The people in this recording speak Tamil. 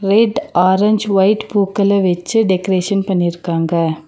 ரெட் ஆரஞ்ச் வைட் பூக்கள வெச்சி டெக்ரேசன் பண்ணிருக்காங்க.